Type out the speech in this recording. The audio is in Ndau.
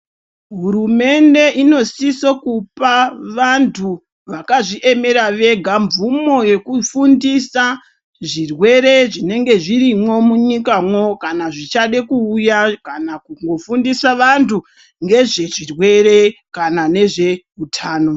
Hurumende inosiso kupa vantu vakazviemere vega mvumo yekufundisa zvirwere zvinenge zvirimwo munyikamwo. Kana zvichade kuuya kana kungofundisa vantu ngezvezvirwere kana ngezveutano.